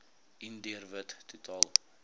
indiër wit totaal